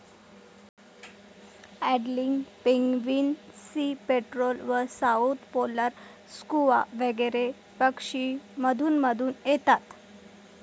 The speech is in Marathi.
अॅडेली पेंग्विन, सी पेट्रोल व साऊथ पोलर स्कुआ वगैरे पक्षी मधुनमधून येतात.